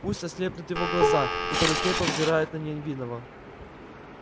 пусть ослепнут его глаза которые слепо взирают на невинного